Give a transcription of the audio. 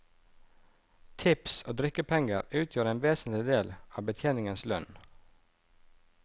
Tips og drikkepenger utgjør en vesentlig del av betjeningens lønn.